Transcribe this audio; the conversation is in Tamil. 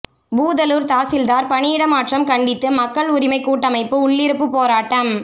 பூதலூர் தாசில்தார் பணியிட மாற்றம் கண்டித்து மக்கள் உரிமை கூட்டமைப்பு உள்ளிருப்பு போராட்டம்